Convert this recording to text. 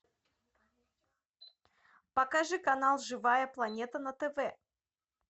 покажи канал живая планета на тв